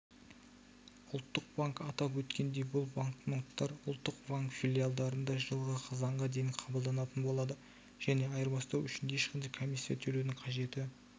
ұлттық банк атап өткендей бұл банкноттар ұлттық банк филиалдарында жылғы қазанға дейін қабылданатын болады және айырбастау үшін ешқандай комиссия төлеудің қажеті